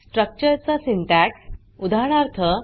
structure चा syntax उदाहरणार्थ